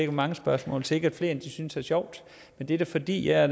hvor mange spørgsmål og sikkert flere end de synes er sjovt men det er da fordi jeg er